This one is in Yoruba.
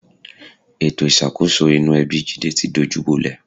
Ètò ìṣàkóso inú ẹbi Jídé ti dojúbolẹ̀